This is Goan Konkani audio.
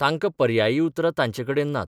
तांकां पर्यायी उतरां तांचेकडेन नात.